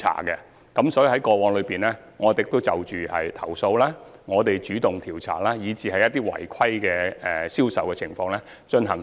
我們在過去的日子裏，對一些投訴進行主動調查，並對一些違規的銷售情況進行檢控。